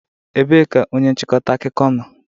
Ebee ka onye nchịkọta akụkọ nọ?